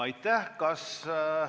Aitäh!